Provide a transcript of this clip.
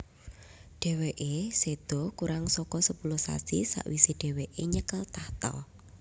Dhèwèké séda kurang saka sepuluh sasi sawisé dhèwèké nyekel tahta